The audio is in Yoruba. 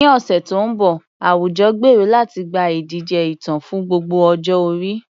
Ní ọ̀sẹ̀ tó ń bọ̀, àwùjọ gbèrò láti gba ìdíje ìtàn fún gbogbo ọjọ́ orí.